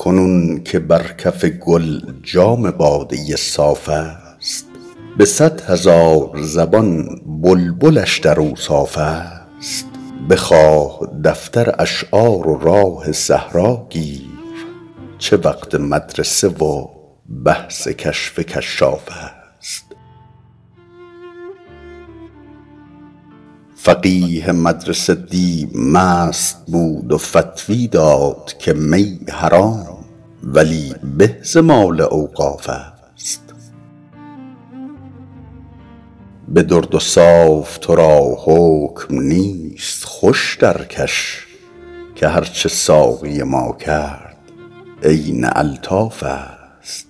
کنون که بر کف گل جام باده صاف است به صد هزار زبان بلبلش در اوصاف است بخواه دفتر اشعار و راه صحرا گیر چه وقت مدرسه و بحث کشف کشاف است فقیه مدرسه دی مست بود و فتوی داد که می حرام ولی به ز مال اوقاف است به درد و صاف تو را حکم نیست خوش درکش که هرچه ساقی ما کرد عین الطاف است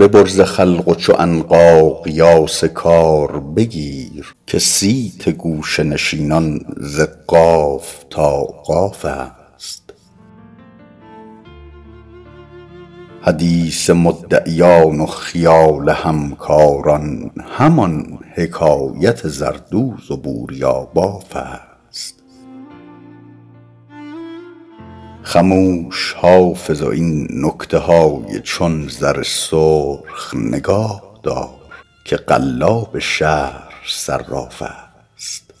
ببر ز خلق و چو عنقا قیاس کار بگیر که صیت گوشه نشینان ز قاف تا قاف است حدیث مدعیان و خیال همکاران همان حکایت زردوز و بوریاباف است خموش حافظ و این نکته های چون زر سرخ نگاه دار که قلاب شهر صراف است